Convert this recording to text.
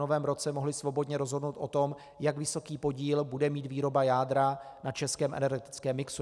Novém roce mohli svobodně rozhodnout o tom, jak vysoký podíl bude mít výroba jádra na českém energetickém mixu.